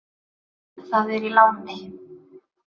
Það er í láni.